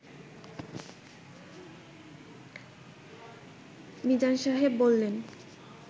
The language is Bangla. মিজান সাহেব বললেন